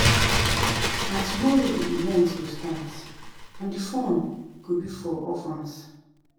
Na tomorrow the event go start and the fund go be for orphans